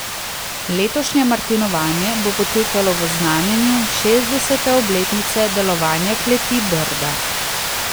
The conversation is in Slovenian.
Letošnje martinovanje bo potekalo v znamenju šestdesete obletnice delovanja Kleti Brda.